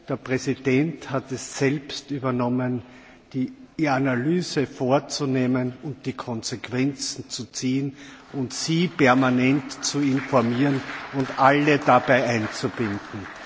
Der Präsident hat es selbst übernommen, die Analyse vorzunehmen und die Konsequenzen zu ziehen, Sie permanent zu informieren und Sie alle dabei einzubinden.